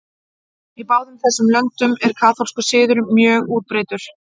Í báðum þessum löndum er kaþólskur siður mjög útbreiddur.